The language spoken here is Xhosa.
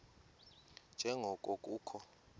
nje ngoko kukho